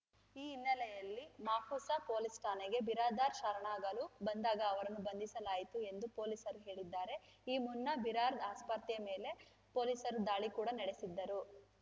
ಈ ಹಿನ್ನೆಲೆಯಲ್ಲಿ ಮಾಪುಸಾ ಪೊಲೀಸ್‌ ಠಾಣೆಗೆ ಬಿರಾದಾರ್ ಶರಣಾಗಲು ಬಂದಾಗ ಅವರನ್ನು ಬಂಧಿಸಲಾಯಿತು ಎಂದು ಪೊಲೀಸರು ಹೇಳಿದ್ದಾರೆ ಈ ಮುನ್ನ ಬಿರಾದಾರ್‌ ಆಸ್ಪತ್ರೆಯ ಮೇಲೆ ಪೊಲೀಸರು ದಾಳಿ ಕೂಡ ನಡೆಸಿದ್ದರು